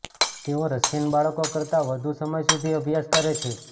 તેઓ રશિયન બાળકો કરતા વધુ સમય સુધી અભ્યાસ કરે છે